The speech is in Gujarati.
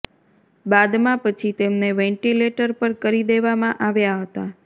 બાદમાં પછી તેમને વેંટિલેટર પર કરી દેવામાં આવ્યા હતા